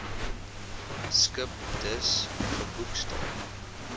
skip dus geboekstaaf